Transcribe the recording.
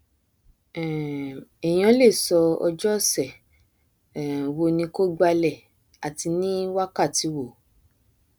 um èèyàn lè sọ ọjọ ọsẹ um wo ni kó gbálẹ ati ní wákàtí wo